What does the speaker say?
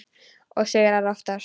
Og sigrar oftast.